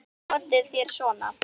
Notið þér svona?